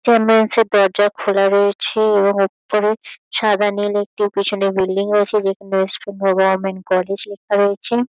চাম্বুলেন্স -এর দরজা খোলা রয়েছে এবং ওপরে সাদা-নীল একটি পিছনে বিল্ডিং রয়েছে। যেখানে ওয়েস্ট বেঙ্গল গভর্নমেন্ট কলেজ লেখা রয়েছে।